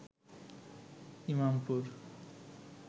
Imampur